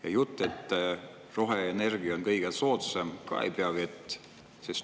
Ja jutt, et roheenergia on kõige soodsam, ka ei pea vett.